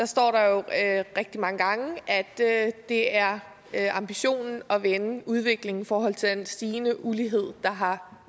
står der jo rigtig mange gange at det er det er ambitionen at vende udviklingen i forhold til den stigende ulighed der har